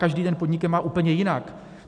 Každý ten podnik je má úplně jinak.